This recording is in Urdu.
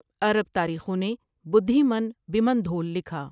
عرب تاریخوں نے بدھیمن بمن دھول لکھا ۔